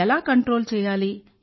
ఎలా కంట్రోల్ చేయాలి